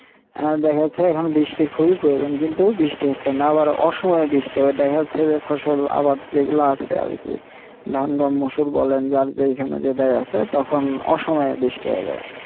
হ্যাঁ দেখা যাচ্ছে এখন বৃষ্টির খুবই প্রয়োজন কিন্তু বৃষ্টি হচ্ছে না আবার অসহায় বৃষ্টি হয় দেখা যাচ্ছে যে ফসল আবার যেগুলো আছে ধান-গ্রাম মসুর বলেন যার যেখানে যেটাই আছে তখন অসময়ে বৃষ্টি হবে